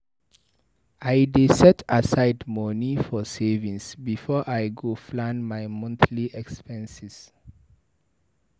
I dey set aside money for savings before I go plan my monthly expenses.